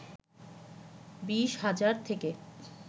২০ হাজার থেকে